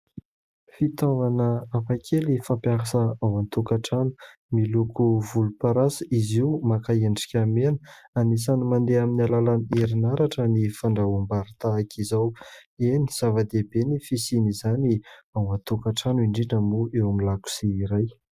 Fitaovana hafakely fampiasa ao an-tokantrano. Miloko volomparasy izy io, maka endrika mena. Anisan'ny mandeha amin'ny alalan'ny herinaratra ny fandrahoam-bary tahaka izao. Eny zava-dehibe ny fisian'izany ao an-tokantrano, indrindra moa eo amin'ny lakozia iray.